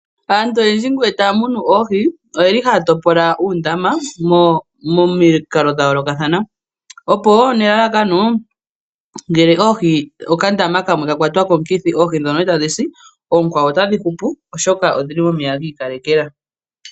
Aantu iyendji ohaya topola uundamo opo shampaa oka ndama kamwe kaka kala kena omukithi oohi dhi kwawo ndhoka dhili muu ndama wulye dhi hupe.